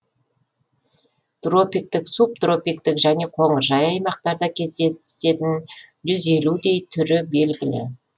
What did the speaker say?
тропиктік субтропиктік және қоңыржай аймақтарда кездесетін жүз елудей түрі белгілі